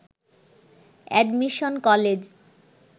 admission college